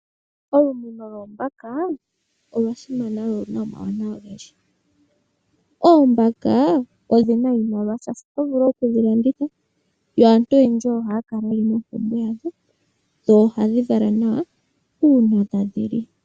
Olumuno lwoombaka olwa simana lwo oluna omawuwanawa ogendji. Oombaka ohadhi eta iimaliwa shaashi oto vulu okudhi landitha yo aantu oyendji ohaya kala yeli mompumbwe yadho dho ohadhi vala nawa uuna tadhi li.